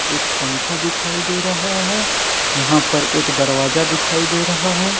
एक पंखा दिखाई दे रहा है यहां पर एक दरवाजा दिखाई दे रहा है।